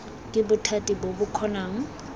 ke bothati bo bo kgonang